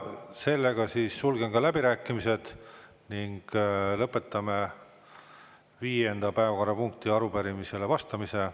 Sellega siis sulgen läbirääkimised ning lõpetame viienda päevakorrapunkti arupärimisele vastamise.